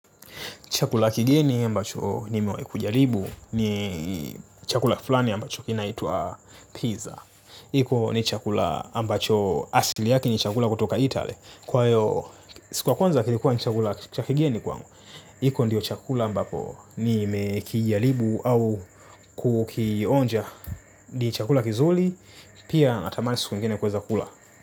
Chakula kigeni ambacho nimewahi kujaribu ni chakula fulani ambacho kinaitwa pizza. Hiko ni chakula ambacho asili yake ni chakula kutoka Italy, kwa hio. Kwa kwanza kilikuwa ni chakula cha kigeni kwangu. Hiko ndio chakula ambapo nimekijaribu au kukionja. Ni chakula kizuri, pia natamani siku ingine kuweza kula.